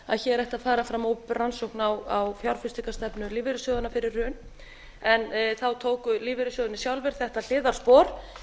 að hér ætti að fara fram opinber rannsókn á fjárfestingarstefnu lífeyrissjóðanna fyrir hrun en þá tóku lífeyrissjóðirnir sjálfir þetta hliðarspor